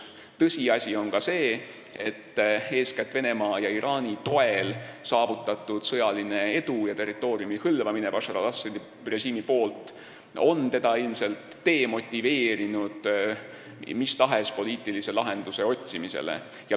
Tõsiasi on ka see, et eeskätt Venemaa ja Iraani toel saavutatud sõjaline edu ja territooriumi hõlvamine on Bashar al-Assadi režiimi ilmselt demotiveerinud mis tahes poliitilist lahendust otsima.